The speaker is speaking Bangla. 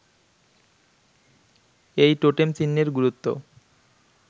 এই টোটেম-চিহ্নের গুরুত্ব